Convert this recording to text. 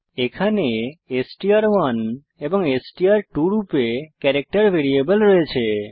এখানে str1এবং এসটিআর2 রূপে ক্যারেক্টার ভেরিয়েবল রয়েছে